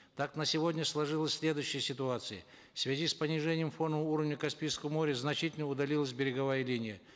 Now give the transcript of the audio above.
так на сегодня сложилась следующая ситуация в связи с понижением фонового уровня каспийского моря значительно удалилась береговая линия